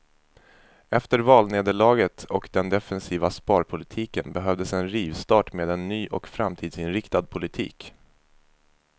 Efter valnederlaget och den defensiva sparpolitiken behövdes en rivstart med en ny och framtidsinriktad politik.